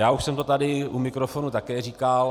Já už jsem to tady u mikrofonu také říkal.